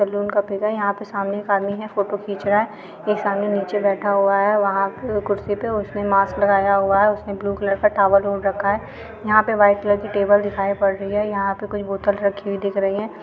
Salon का pic है यहाँ पे सामने एक आदमी है फोटो खींच रहा है एक सामने नीचे बैठा हुआ है वहाँ कुर्सी पे उसने मास्क लगाया हुआ है उसने ब्लू कलर का टॉवल ओढ़ रखा है यहाँ पे व्हाइट कलर की टेबल दिखाई पड़ रही है यहाँ पे कोई बोतल रखी हुई दिख रही है।